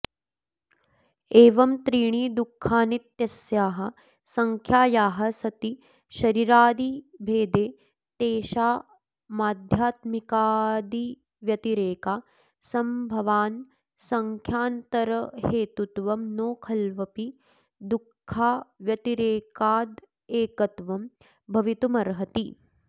एवं त्रीणि दुःखानीत्यस्याः संख्यायाः सति शरीरादिभेदे तेषामाध्यात्मिकादिव्यतिरेकासम्भवान्न सङ्ख्यान्तरहेतुत्वं नो खल्वपि दुःखाव्यतिरेकादेकत्वं भवितुमर्हति